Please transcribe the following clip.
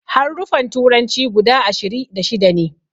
Haruffan turanci guda ashiri da shida ne